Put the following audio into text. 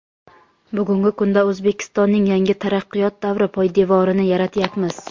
Bugungi kunda O‘zbekistonning yangi taraqqiyot davri poydevorini yaratyapmiz.